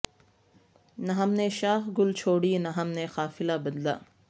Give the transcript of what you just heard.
نہ ہم نے شاخ گل چھوڑی نہ ہم نے قافلہ بدلا